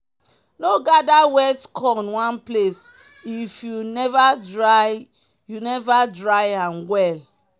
no gather wet corn one place if you never dry you never dry am well.